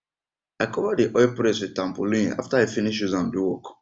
i cover dey oil press with tarpaulin after i finish use am do work